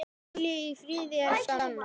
Hvíl í friði, elsku Anna.